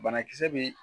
Banakisɛ bi